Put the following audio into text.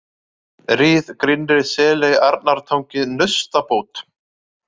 Rið, Grynnri-Seley, Arnartangi, Naustabót